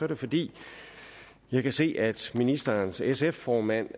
det fordi jeg kan se at ministerens sf formand